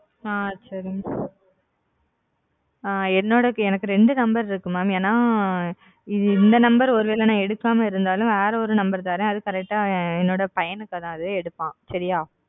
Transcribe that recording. அ சரிங்க அ என்னோட எனக்கு ரெண்டு நம்பர் இருக்கு mam ஏன்னா இந்த நம்பர் ஒருவேள நா எடுக்காம இருந்தாலும் வேற ஒரு நம்பர் தரேன் அது correct ஆ என்னோட பையன் எடுப்பான் சரியா?